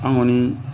An kɔni